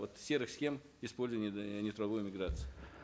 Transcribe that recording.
вот серых схем использования нетрудовой миграции